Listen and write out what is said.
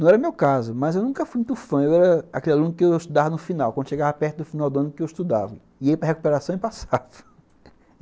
Não era o meu caso, mas eu nunca fui muito fã, eu era aquele aluno que eu estudava no final, quando chegava perto do final do ano que eu estudava, ia para recuperação e passava